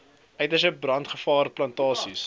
uiterste brandgevaar plantasies